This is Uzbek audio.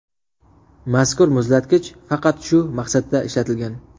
Mazkur muzlatgich faqat shu maqsadda ishlatilgan.